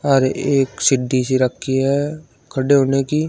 और एक सीडी सी रखी है खड़े होने की।